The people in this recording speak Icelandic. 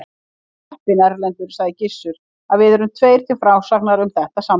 Þú ert heppinn, Erlendur, sagði Gizur, að við erum tveir til frásagnar um þetta samtal.